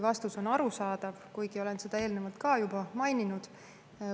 Vastus arusaadav ja olen seda eelnevalt ka juba maininud.